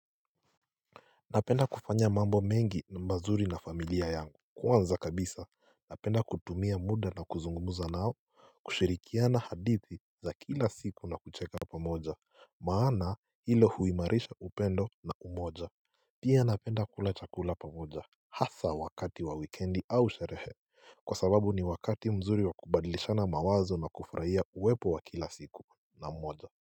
Napenda kufanya mambo mengi mazuri na familia yangu Kwanza kabisa napenda kutumia muda na kuzungumza nao kushirikiana hadithi za kila siku na kucheka pamoja Maana hilo huimarisha upendo na umoja Pia napenda kula chakula pamoja Hasa wakati wa wikendi au sherehe kwa sababu ni wakati mzuri wa kubadlishana mawazo na kufurahia uwepo wa kila siku na mmoja.